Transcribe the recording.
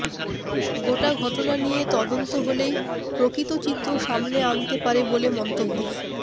গোটা ঘটনা নিয়ে তদন্ত হলেই প্রকৃত চিত্র সামনে আনতে পারে বলে মন্তব্য